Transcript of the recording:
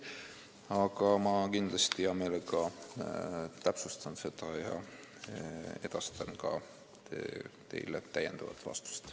Aga ma kindlasti hea meelega täpsustan seda ja edastan teile täiendava vastuse.